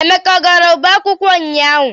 Emeka ọ gara ọba akwụkwọ ụnyaahụ?